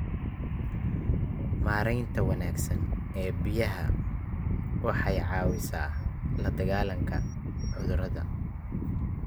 Maareynta wanaagsan ee biyaha waxay caawisaa la dagaalanka cudurada.